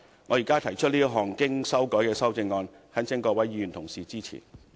我現在提出這項經修改的修正案，懇請各位議員支持。